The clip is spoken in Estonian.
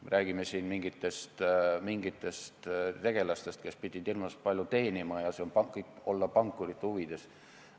Me räägime siin mingitest tegelastest, kes pidid hirmus palju teenima, üldse see kõik olevat pankurite huvides.